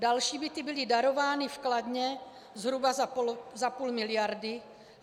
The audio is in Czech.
Další byty byly darovány v Kladně zhruba za půl miliardy.